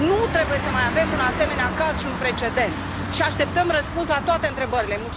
Nu trebuie să mai avem un asemenea caz și un precedent și așteptăm răspuns la toate întrebările.